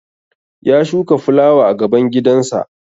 Ya shuka fulawa a gaban gidansa